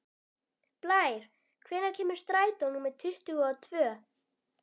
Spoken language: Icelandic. Blær, hvenær kemur strætó númer tuttugu og tvö?